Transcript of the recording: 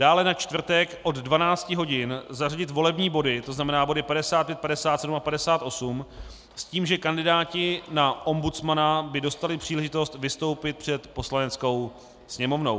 Dále na čtvrtek od 12 hodin zařadit volební body, to znamená body 55, 57 a 58, s tím, že kandidáti na ombudsmana by dostali příležitost vystoupit před Poslaneckou sněmovnou.